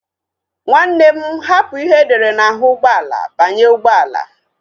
Nwanne m hapụ ihe edere n'ahụ ụgbọala banye ụgbọala